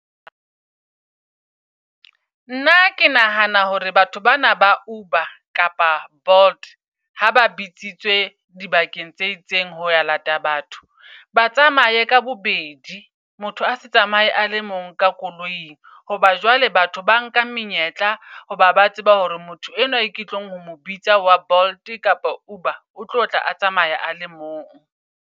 Nna ke nahana hore batho bana ba Uber kapa Bolt ha ba bitsitswe di bakeng tse itseng ho ya lata batho ba tsamaye ka bobedi. Motho ase tsamae a le mong ka koloing. Hoba jwale batho ba nka menyetla. Hoba ba tseba hore motho enwa e ke tlong ho mo bitsa wa Bolt kapa Uber o tlo tla a tsamaya a le mong.